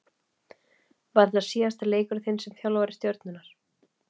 Var þetta síðasti leikur þinn sem þjálfari Stjörnunnar?